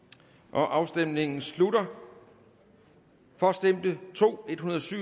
afstemningen slutter for stemte to